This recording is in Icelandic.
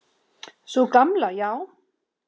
Sú gamla, já.